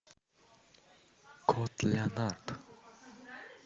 кот леонард